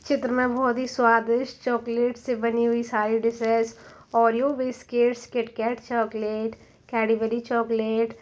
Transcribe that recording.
चित्र मे बोहोत ही स्वादिष्ट चोकलेट से बनी हुई सारी dishes Oreo biscuits KitKat chocolate Cadbury chocolate --